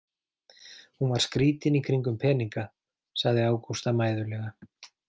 Hún var skrítin í kringum peninga, sagði Ágústa mæðulega.